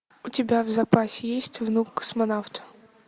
у тебя в запасе есть внук космонавта